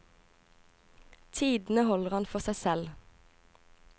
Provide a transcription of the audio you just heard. Tidene holder han for seg selv.